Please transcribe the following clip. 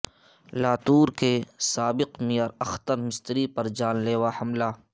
لاتور کے سابق میئر اختر مستری پر جان لیوا حملہ